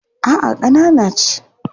A'a ƙanana ce.